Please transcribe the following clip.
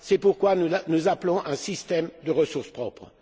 ans. C'est pourquoi nous appelons à un système de ressources propres.